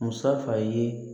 Musafa ye